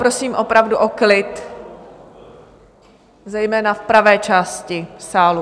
Prosím opravdu o klid zejména v pravé části sálu!